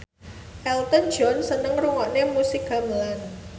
Elton John seneng ngrungokne musik gamelan